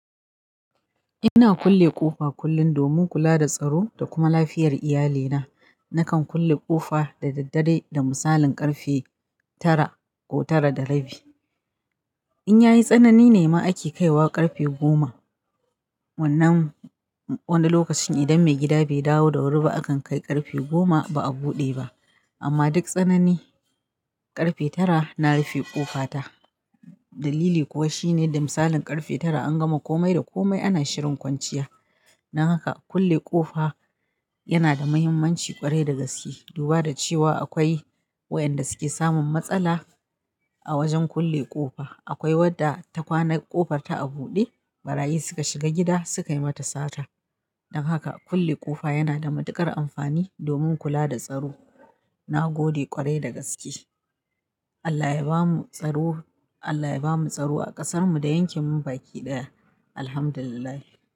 Ina kulle ƙofa kullum domin kula da tsaro da kuma lafiyar iyalina. Nakan kulle ƙofa da daddare da misalin ƙarfe tara ko tara da rabi. In yayi tsanani nema ake kaiwa ƙarfe goma. Wannan wani lokacin idan maigida bai dawo da wuri ba, akan kai ƙarfe goma ba'a buɗe ba. Amma duk tsanani, ƙarfe tara na rufe ƙofa ta. Dalili kuwa shine da misalin ƙarfe tara an gama kome da kome, ana shirin kwanciya. Don haka kulle ƙofa yanada mahimmanci ƙwarai da gaske. Duba da cewa akwai waɗanda suke samun matsala a wajen kulle ƙofa. Akwai wadda ta kwana ƙofar ta a buɗe, ɓarayi suka shiga gida suka yi mata sata. Don haka kulle ƙofa yana da matuƙar amfani domin kula da tsaro. Na gode ƙwarai da gaske. Allah ya bamu tsaro, Allah ya bamu tsaro a ƙasarmu da yankin mu baki ɗaya. Alhamdulillahi.